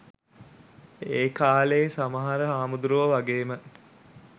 ඒකාලෙ සමහර හාමුදුරුවො වගේම